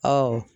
Ɔ